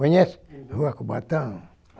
Conhece, uhum, a Rua Cubatão?